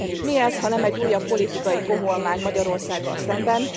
Mi ez, ha nem egy újabb politikai koholmány Magyarországgal szemben?